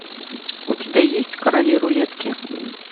у тебя есть короли рулетки